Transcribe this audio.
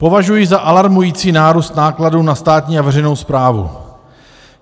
Považuji za alarmující nárůst nákladů na státní a veřejnou správu.